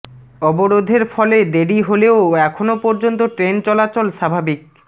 অবরোধের ফলে দেরি হলেও এখনও পর্যন্ত ট্রেন চলাচল স্বাভাবিক